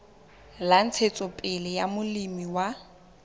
la ntshetsopele ya molemi wa